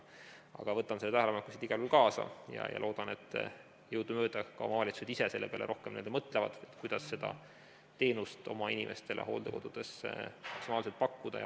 Aga võtan need tähelepanekud igal juhul siit kaasa ja loodan, et jõudumööda omavalitsused ise selle peale rohkem mõtlevad, kuidas seda teenust oma inimestele hooldekodudes maksimaalselt pakkuda.